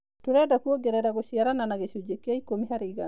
Tũrenda kũongerera gũciarana na gĩcunjĩ kĩa ĩkũmi harĩ igana.